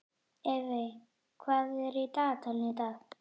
Evey, hvað er í dagatalinu í dag?